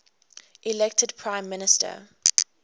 elected prime minister